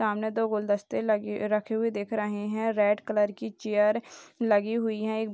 सामने दो गुलदस्ते लगे रखे हुए दिख रहे हैं रेड कलर की चेयर लगी हुई हैं।